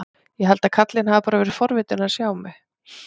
Ég held að karlinn hafi bara verið forvitinn að sjá mig.